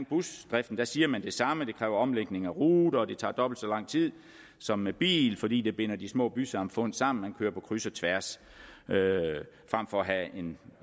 busdriften siger man det samme nemlig at det kræver omlægning af ruter og at det tager dobbelt så lang tid som med bil fordi det binder de små bysamfund sammen og man kører på kryds og tværs frem for at have